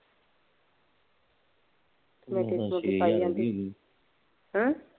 ਮੈ ਪੁੱਛਿਆ ਸੀ। ਹੂ